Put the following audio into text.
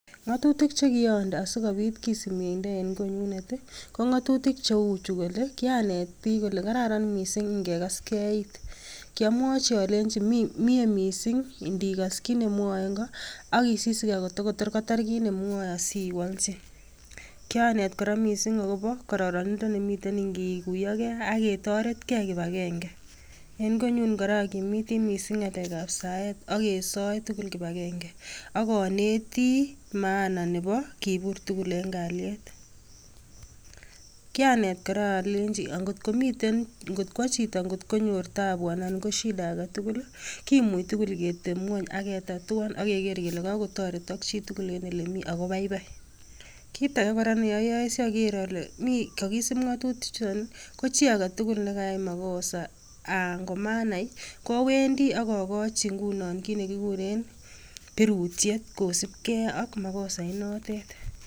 Ngotutik chekokinde asikopit kisip mieindo en konyunet tii kongotutik chechu kole kianet bik kole kararan missing ingekas gee it, kiomwochi olenchi mie missing ndikas kit nemwoe nko ak isisigee Kotor kotar kit nemwoe asiwoljin. Kianet Koraa missing kororonindo nemiten inkikuyo gee ak ketoret gee kipakenge, en konyunnkoraa okimitii missing ngalek ab saet ak kesoe tukul kipakenge akonetii maana nebo kobur tukul en kaliet. Kianet Koraa olenji ankotko miten kotko chito kotkonyoe taabu ana ko shida aketukul lii kimuch tukul ketep ngwony aketatuam ak Keker kele kakochobok chitukul en olemii ako baibai kit age ne oyoe si okere ole kokisip ngotutik chuton nii ko chii agetukul mekayai makosa akomanai owendii ak ikochi nguni kit nekikuren pirutyet kisib hee ak makosait notet.